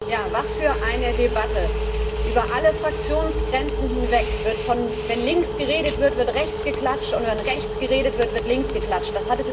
Frau Präsidentin! Ja, was für eine Debatte! Über alle Fraktionsgrenzen hinweg. Wenn links geredet wird, wird rechts geklatscht und wenn rechts geredet wird, wird links geklatscht.